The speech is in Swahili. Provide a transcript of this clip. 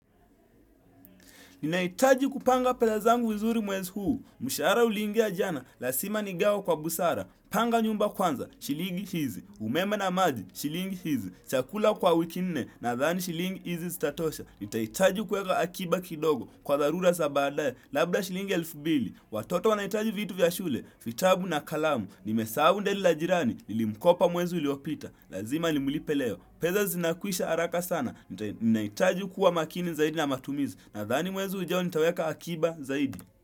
Ninahitaji kupanga pesa zangu vizuri mwezi huu Mshahara uliingia jana Lazima nigawe kwa busara. Panga nyumba kwanza, shilingi hizi, umeme na maji shilingi hizi, Chakula kwa wiki nne Nadhani shilingi hizi zitatosha. Nitahitaji kuweka akiba kidogo Kwa dharura za badaye Labda shilingi elfu mbili Watoto wanahitaji vitu vya shule vitabu na kalamu Nimesahu deli la jirani Nilimkopa mwezi uliopita Lazima nimlipe leo. Pesa zinakwisha haraka sana Ninahitaji kuwa makini zaidi na matumizi. Nadhani mwezi ujao nitaweka akiba zaidi.